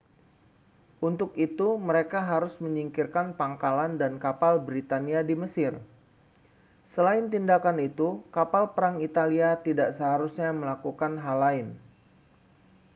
untuk itu mereka harus menyingkirkan pangkalan dan kapal britania di mesir selain tindakan itu kapal perang italia tidak seharusnya melakukan hal lain